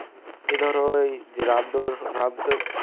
এই ধরো ওই